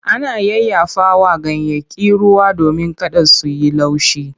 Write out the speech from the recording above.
Ana yayyafawa ganyayyaki ruwa domin kada su yi laushi.